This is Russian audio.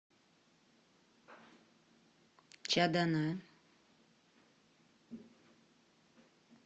чадана